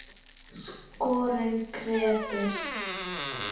Skórinn kreppir